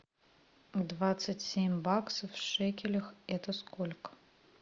двадцать семь баксов в шекелях это сколько